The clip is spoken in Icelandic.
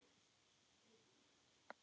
Það segir: Ég er mætt!